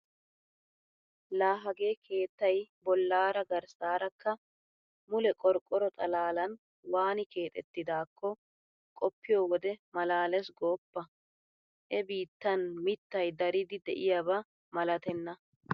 Laa hagee keettay bollaara garssaarakka mule qorqqoro xalaalan waani keexettidaakko qoppiyo wode maalaalees gooppa! He biittan mittay daridi de'iyaba malatenna.